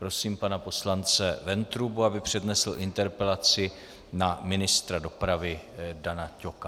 Prosím pana poslance Ventrubu, aby přednesl interpelaci na ministra dopravy Dana Ťoka.